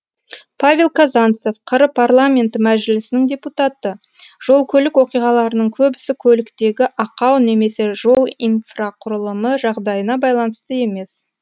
павел казанцев қр парламенті мәжілісінің депутаты жол көлік оқиғаларының көбісі көліктегі ақау немесе жол инфрақұрылымы жағдайына байланысты емес